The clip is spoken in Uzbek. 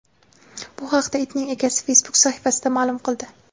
Bu haqda itning egasi Facebook sahifasida ma’lum qildi .